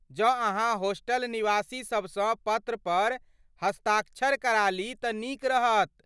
जँ अहाँ होस्टल निवासीसभसँ पत्र पर हस्ताक्षर करा ली तऽ नीक रहत।